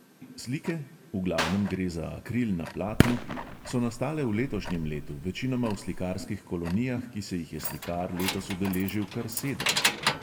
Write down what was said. Slike, v glavnem gre za akril na platnu, so nastale v letošnjem letu, večinoma v slikarskih kolonijah, ki se jih je slikar letos udeležil kar sedem.